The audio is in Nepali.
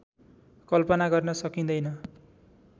कल्पना गर्न सकिँदैन